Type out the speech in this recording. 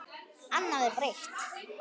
Annað er breytt.